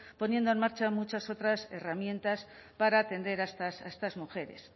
poniendo en marcha muchas otras herramientas para atender a estas mujeres